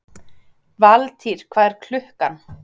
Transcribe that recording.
Valtýr, hvað er klukkan?